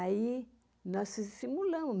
Aí, nós simulamos.